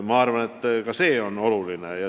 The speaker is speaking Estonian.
Ma arvan, et ka see on oluline.